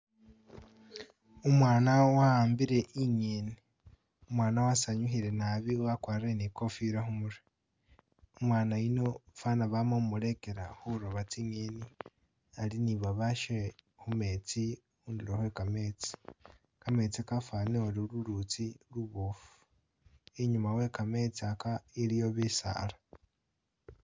Umwana wahambile inyeni, umwana wasanyukhile naabi wagwarile ni khofila khumurwe, umwana yuno faana bama khumuregela khuroba tsingeni ali ni babashe mumetsi hudulo khwe ga meetsi, ga meetsi gafanile uri lulutsi lubofu inyuma we ga meetsi aga iliyo bisaala.